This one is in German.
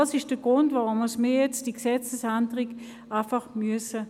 Das ist der Grund, weshalb wir diese Gesetzesänderung jetzt ablehnen müssen.